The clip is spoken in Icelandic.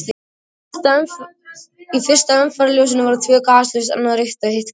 Í fyrsta umferðarljósinu voru tvö gasljós, annað rautt og hitt grænt.